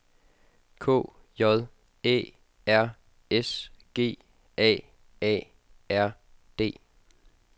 K J Æ R S G A A R D